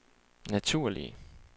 naturlige